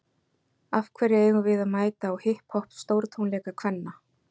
Af hverju eigum við að mæta á hipp hopp stórtónleika kvenna?